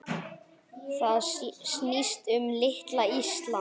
Það snýst um litla Ísland.